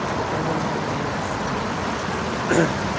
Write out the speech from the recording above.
Acho que até lembro dele assim.